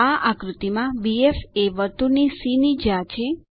આ આકૃતિ માં બીએફ એ વર્તુળ સી ની જ્યા છે